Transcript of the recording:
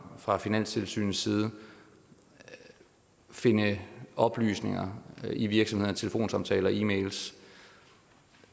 fra finanstilsynets side finde oplysninger i virksomhedernes telefonsamtaler og e mails